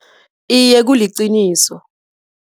Iye, kuliqiniso.